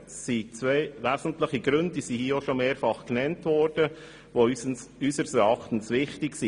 Es gibt zwei wesentliche Gründe, die schon mehrfach genannt wurden, die unseres Erachtens wichtig sind.